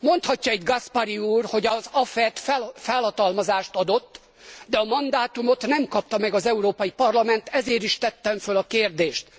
Mondhatja egy Gaspari úr, hogy az AFET felhatalmazást adott, de a mandátumot nem kapta meg az Európai Parlament, ezért is tettem föl a kérdést.